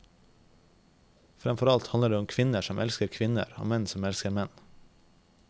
Fremfor alt handler det om kvinner som elsker kvinner og menn som elsker menn.